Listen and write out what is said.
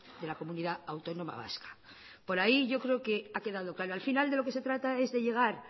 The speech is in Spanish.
de la comunidad autónoma vasca por ahí yo creo que ha quedado claro al final de lo que se trata es de llegar